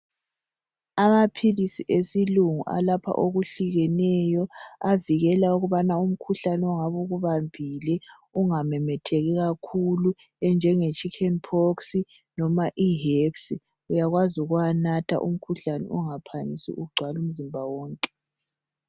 Amaphilisi esilungu alapha okuhlukeneyo. Avikela ukubana umkhuhlane ongabe ukubambile ungamemetheki kakhulu, enjenge "Chicken pox", loba ihepsi, uyakwazi ukuwanatha umkhuhlane ungaphangisi ukugcwala umzimba wonke.